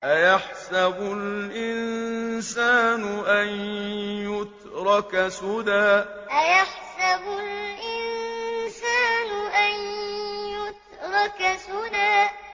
أَيَحْسَبُ الْإِنسَانُ أَن يُتْرَكَ سُدًى أَيَحْسَبُ الْإِنسَانُ أَن يُتْرَكَ سُدًى